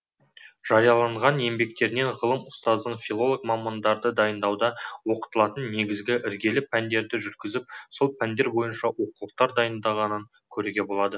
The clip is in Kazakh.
жариялаған еңбектерінен ғалым ұстаздың филолог мамандарды дайындауда оқытылатын негізгі іргелі пәндерді жүргізіп сол пәндер бойынша оқулықтар дайындағанын көруге болады